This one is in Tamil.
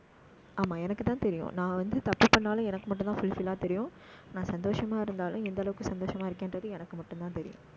ஆமா எனக்குத்தான் தெரியும் நான் வந்து, தப்பு பண்ணாலும், எனக்கு மட்டும்தான் full fill ஆ தெரியும். நான் சந்தோஷமா இருந்தாலும், எந்த அளவுக்கு சந்தோஷமா இருக்கேன்றது எனக்கு மட்டும்தான் தெரியும்